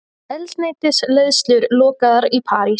Eldsneytisleiðslur lokaðar í París